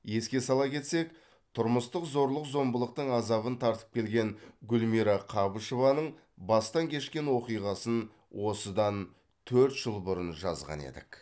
еске сала кетсек тұрмыстық зорлық зомбылықтың азабын тартып келген гүлмира қабышеваның бастан кешкен оқиғасын осыдан төрт жыл бұрын жазған едік